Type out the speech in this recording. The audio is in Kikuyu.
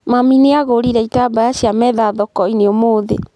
Mami nĩagũrire itambaya cia metha thoko-inĩ ũmũthĩ